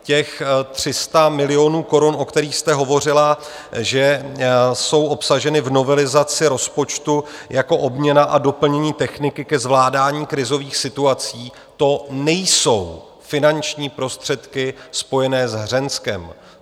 Těch 300 milionů korun, o kterých jste hovořila, že jsou obsaženy v novelizaci rozpočtu jako obměna a doplnění techniky ke zvládání krizových situací, to nejsou finanční prostředky spojené s Hřenskem.